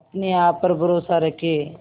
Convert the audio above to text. अपने आप पर भरोसा रखें